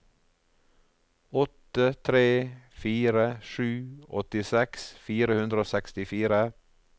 åtte tre fire sju åttiseks fire hundre og sekstifire